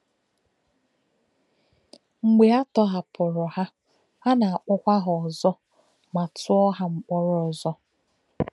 Mgbe a tọhapùrù ha, a na-akpọ̀kwa ha ọzọ ma tụọ̀ ha mkpọ̀rọ ọzọ.